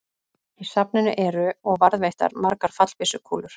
Í safninu eru og varðveittar margar fallbyssukúlur.